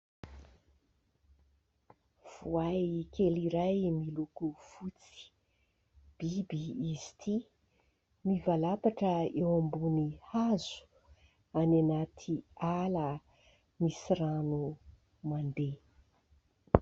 Voay kely iray miloko fotsy. Biby izy ity, mivalapatra eo ambony hazo. Any anaty ala misy rano mandeha.